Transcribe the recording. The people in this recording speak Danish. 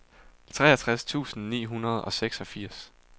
treogtres tusind ni hundrede og seksogfirs